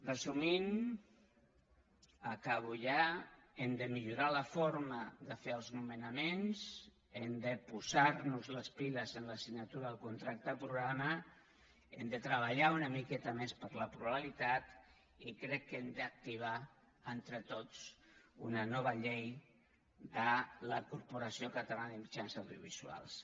resumint acabo ja hem de millorar la forma de fer els nomenaments hem de posar nos les piles en l’assignatura del contracte programa hem de treballar una miqueta més per la pluralitat i crec que hem d’activar entre tots una nova llei de la corporació catalana de mitjans audiovisuals